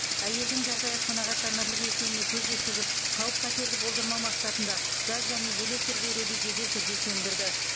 әйелдің жағдайы қанағаттанарлық екеніне көз жеткізіп қауіп қатерді болдырмау мақсатында газ және электр беруді жедел түрде сөндірді